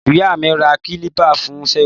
Ìyá mi rà kílìpà fun seun